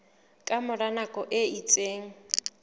ka mora nako e itseng